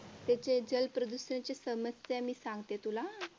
त्याच्या जलप्रदूषणाच्या समस्या मी सांगते तुला हा.